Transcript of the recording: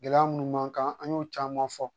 Gɛlɛya munnu b'an kan an y'o caman fɔ